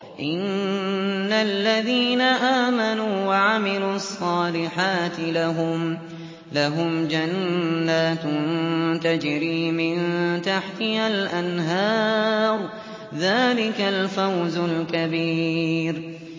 إِنَّ الَّذِينَ آمَنُوا وَعَمِلُوا الصَّالِحَاتِ لَهُمْ جَنَّاتٌ تَجْرِي مِن تَحْتِهَا الْأَنْهَارُ ۚ ذَٰلِكَ الْفَوْزُ الْكَبِيرُ